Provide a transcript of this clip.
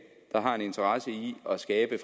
er jo